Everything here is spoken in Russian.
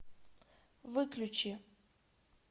выключи